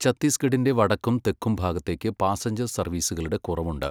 ഛത്തീസ്ഗഢിൻ്റെ വടക്കും തെക്കും ഭാഗത്തേക്ക് പാസഞ്ചർ സർവീസുകളുടെ കുറവുണ്ട്.